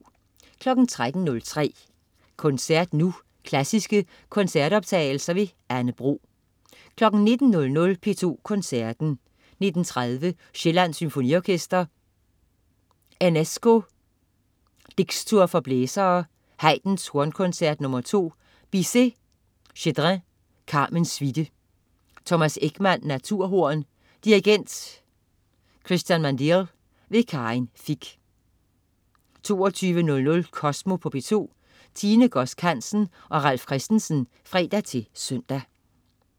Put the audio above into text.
13.03 Koncert Nu. Klassiske koncertoptagelser. Anne Bro 19.00 P2 Koncerten. 19.30 Sjællands Symfonorkester. Enesco: Dixtuor for blæsere. Haydn: Hornkoncert nr. 2. Bizet/Schedrin: Carmen suite. Thomas Ekman, naturhorn. Dirigent: Cristian Mandeal. Karin Fich 22.00 Kosmo på P2. Tine Godsk Hansen og Ralf Christensen (fre-søn)